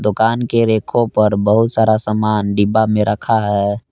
दुकान के रैको पर बहुत सारा समान डिब्बा में रखा है।